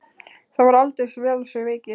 Það var aldeilis vel af sér vikið.